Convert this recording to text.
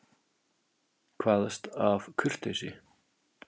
Kvaðst af kurteisi.